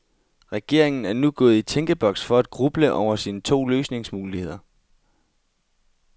Regeringen er nu gået i tænkeboks for at gruble over sine to løsningsmuligheder.